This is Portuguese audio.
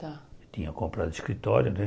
Tinha comprado escritório né.